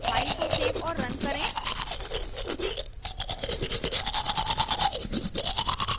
file को save और run करें